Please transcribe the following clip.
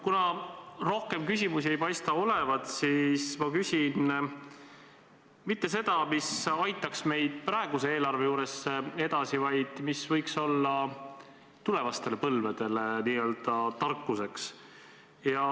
Kuna rohkem küsimusi ei paista olevat, siis ma ei küsi mitte seda, mis aitaks meid praeguse eelarve juures edasi, vaid mis võiks olla tulevastele põlvedele n-ö tarkuseks.